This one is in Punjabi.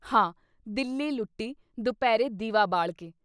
“ਹਾਂਅ ! ਦਿੱਲੀ ਲੁੱਟੀ, ਦੁਪਹਿਰੇ ਦੀਵਾ ਬਾਲਕੇ।”